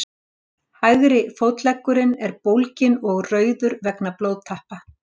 Hægri fótleggurinn er bólginn og rauður vegna blóðtappa.